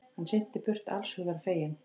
Hann synti burt allshugar feginn.